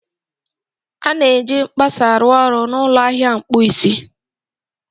A na-eji mkpasa a ruoru n'ụlọ ahịa akpụ isi